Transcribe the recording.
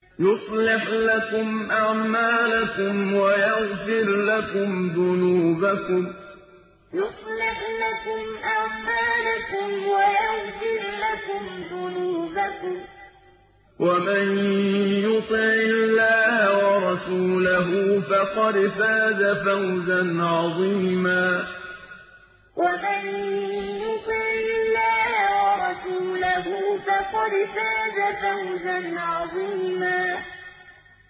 يُصْلِحْ لَكُمْ أَعْمَالَكُمْ وَيَغْفِرْ لَكُمْ ذُنُوبَكُمْ ۗ وَمَن يُطِعِ اللَّهَ وَرَسُولَهُ فَقَدْ فَازَ فَوْزًا عَظِيمًا يُصْلِحْ لَكُمْ أَعْمَالَكُمْ وَيَغْفِرْ لَكُمْ ذُنُوبَكُمْ ۗ وَمَن يُطِعِ اللَّهَ وَرَسُولَهُ فَقَدْ فَازَ فَوْزًا عَظِيمًا